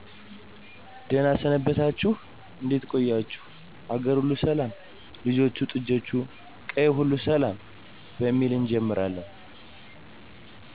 ደህና ሰነበታችሁ እዴት ቆያችሁኝ አገርሁሉ ሰላም ልጆቹ ጥጆቹ ቀየው ሁሉ ሰላም በሚል እጀምራለን